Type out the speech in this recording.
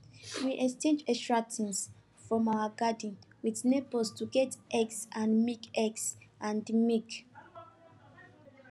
we exchange extra things from our garden with neighbors to get eggs and milk eggs and milk